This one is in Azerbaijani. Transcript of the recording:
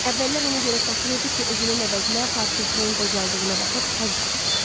Əvvəllər onu görə saxlayırdı ki, özünün əvəzinə portretinin qocaldığına baxıb həzz alsın.